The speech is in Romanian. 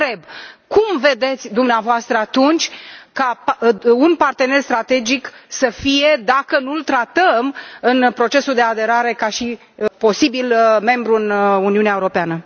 Vă întreb cum vedeți dumneavoastră atunci ca un partener strategic să fie, dacă nu îl tratăm în procesul de aderare ca și posibil membru în Uniunea Europeană?